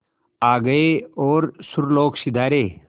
आ गए और सुरलोक सिधारे